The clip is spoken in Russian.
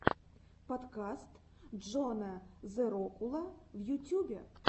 подкаст джона зэрокула в ютюбе